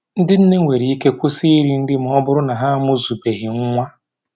Ndị nne nwere ike kwụsị iri nri ma ọ bụrụ na ha amụzubeghị nwa